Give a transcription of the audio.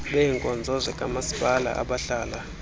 beebkonzo zikamaspala abahlala